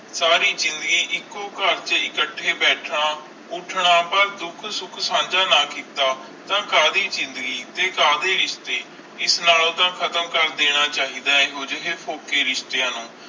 ਸਾਰੀ ਜ਼ਿੰਦਗੀ ਅੱਖੋਂ ਕਰ ਚ ਇਖ਼ਟੀ ਬੈਠਣਾ ਉੱਠਣਾ ਓਰ ਦੁੱਖ ਸੁਖ ਸੰਜੈ ਨਾ ਕੀਤਾ ਕਦੀ ਜ਼ਿੰਦਗੀ ਤੇ ਕਦੇ ਰਿਸ਼ਤੇ ਆਸ ਨਾਲ ਤੇ ਖ਼ਤਮ ਕਰ ਦੇਣਾ ਚਾਹੀਦਾ ਏਹੋ ਜੇ ਪੋਹਕੇ ਰਿਸ਼ਤਿਆਂ ਨੂੰ